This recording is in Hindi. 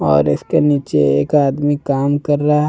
और इसके नीचे एक आदमी काम कर रहा--